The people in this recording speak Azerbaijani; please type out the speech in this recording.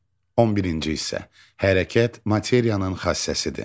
11-ci hissə Hərəkət materiyanın xassəsidir.